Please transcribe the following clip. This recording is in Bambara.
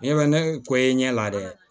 Ne bɛ ne ko i ɲɛ la dɛ